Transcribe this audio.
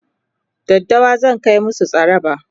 daddawa zan Kai musu tsaraba